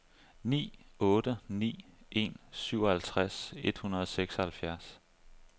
ni otte ni en syvoghalvtreds et hundrede og seksoghalvfjerds